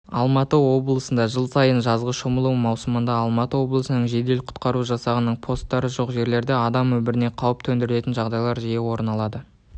алматы облысында жыл сайын жазғы шомылу маусымында алматы облысының жедел құтқару жасағының постары жоқ жерлерде адам өміріне қауіп төндіретін жағдайлар жиі орын